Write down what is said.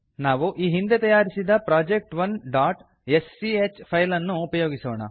ನಾವು ಈ ಹಿಂದೆ ತಯಾರಿಸಿದ project1ಸ್ಚ್ ಫೈಲ್ ನ್ನು ಉಪಯೋಗಿಸೋಣ